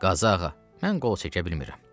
Qazıağa, mən qol çəkə bilmirəm.